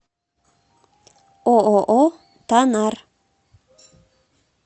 ооо танар